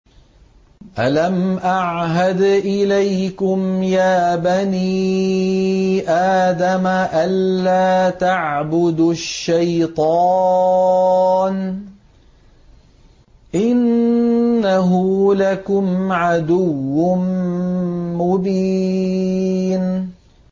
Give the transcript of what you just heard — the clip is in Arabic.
۞ أَلَمْ أَعْهَدْ إِلَيْكُمْ يَا بَنِي آدَمَ أَن لَّا تَعْبُدُوا الشَّيْطَانَ ۖ إِنَّهُ لَكُمْ عَدُوٌّ مُّبِينٌ